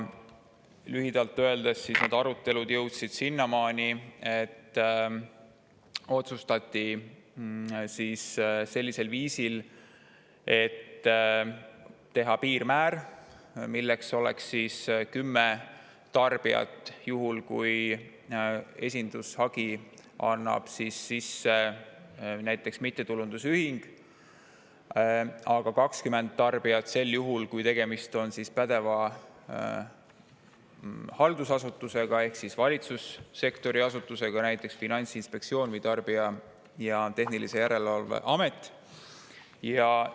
Lühidalt öeldes jõudsid need arutelud sinnamaani, et otsustati piirmäär: 10 tarbijat juhul, kui esindushagi annab sisse näiteks mittetulundusühing, aga 20 tarbijat sel juhul, kui tegemist on pädeva haldusasutusega ehk valitsussektori asutusega, näiteks Finantsinspektsiooni või Tarbijakaitse ja Tehnilise Järelevalve Ametiga.